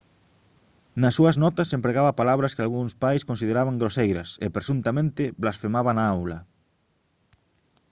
nas súas notas empregaba palabras que algúns pais consideraban groseiras e presuntamente blasfemaba na aula